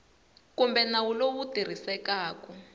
kumbe nawu lowu wu tirhisekaku